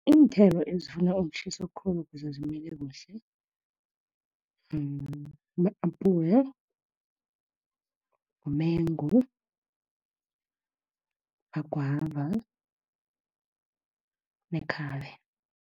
Iinthelo ezifuna ukutjhisa khulu, ukuze zimile kuhle, ma-apula, mengu, amagwava, nekhabe.